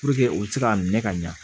u bɛ se ka minɛ ka ɲa